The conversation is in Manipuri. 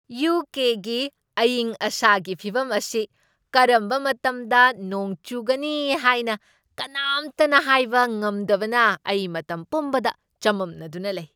ꯌꯨ. ꯀꯦ. ꯒꯤ ꯑꯏꯪ ꯑꯁꯥꯒꯤ ꯐꯤꯚꯝ ꯑꯁꯤ ꯀꯔꯝꯕ ꯃꯇꯝꯗ ꯅꯣꯡ ꯆꯨꯒꯅꯤ ꯍꯥꯏꯅ ꯀꯅꯥꯝꯇꯅ ꯍꯥꯏꯕ ꯉꯝꯗꯕꯅ ꯑꯩ ꯃꯇꯝ ꯄꯨꯝꯕꯗ ꯆꯃꯝꯅꯗꯨꯅ ꯂꯩ ꯫